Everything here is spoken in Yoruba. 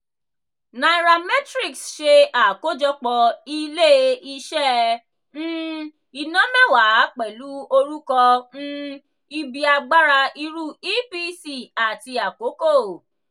nairametrics ṣe àkójọpọ̀ ilé-iṣẹ́ um iná mẹ́wàá pẹlu orúkọ um ibi agbára iru epc àti akoko.